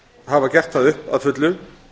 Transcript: hafa gert það upp að fullu